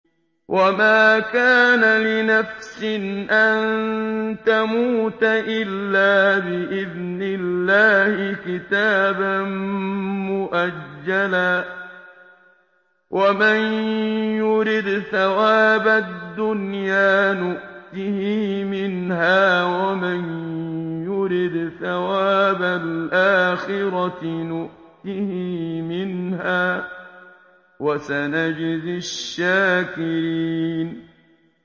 وَمَا كَانَ لِنَفْسٍ أَن تَمُوتَ إِلَّا بِإِذْنِ اللَّهِ كِتَابًا مُّؤَجَّلًا ۗ وَمَن يُرِدْ ثَوَابَ الدُّنْيَا نُؤْتِهِ مِنْهَا وَمَن يُرِدْ ثَوَابَ الْآخِرَةِ نُؤْتِهِ مِنْهَا ۚ وَسَنَجْزِي الشَّاكِرِينَ